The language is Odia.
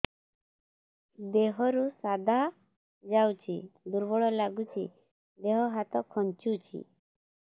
ଦେହରୁ ସାଧା ଯାଉଚି ଦୁର୍ବଳ ଲାଗୁଚି ଦେହ ହାତ ଖାନ୍ଚୁଚି